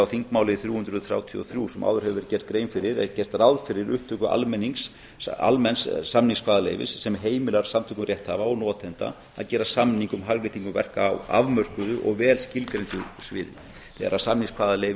þingmáli þrjú hundruð þrjátíu og þrjú sem áður hefur verið gerð grein fyrir er gert ráð fyrir upptöku almenns samningskvaðaleyfis sem heimilar samtökum rétthafa og notenda að gera samning um hagnýtingu verka á afmörkuðu og vel skilgreindu sviði þegar samningskvaðaleyfi